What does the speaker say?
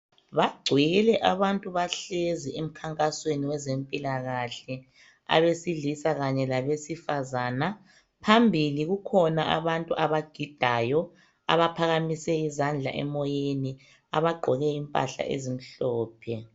Bagcwele abantu bahlezi emkhankasweni wezempilakahle, abesilisa kanye labesifazana phambili kukhona abantu bagidayo abaphakamise izandla emoyeni abagqoke impahla ezimhlophe.